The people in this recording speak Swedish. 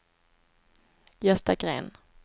Gösta Gren